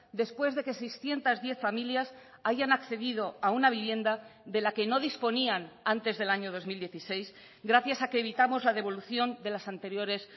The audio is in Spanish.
después de que seiscientos diez familias hayan accedido a una vivienda de la que no disponían antes del año dos mil dieciséis gracias a que evitamos la devolución de las anteriores